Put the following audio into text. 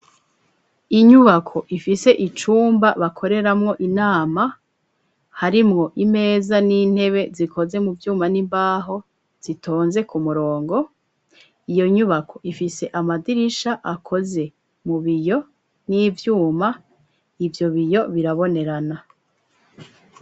Inyubako ifise icumba bakoreramwo inama harimwo imeza n'intebe zikoze mu vyuma n'imbaho zitonze ku murongo, iyo nyubako ifise amadirisha akoze mu biyo n'ivyuma ibyo biyo birabonerana.